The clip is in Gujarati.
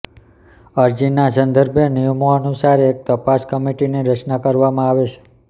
અરજીનાં સંદર્ભે નિયમોનુસાર એક તપાસ કમિટીની રચના કરવામાં આવશે